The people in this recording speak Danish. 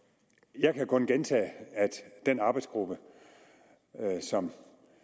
jeg kan kun gentage at den arbejdsgruppe som